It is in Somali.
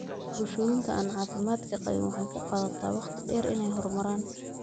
Bulshooyinka aan caafimaadka qabin waxay ku qaadataa waqti dheer inay horumaraan.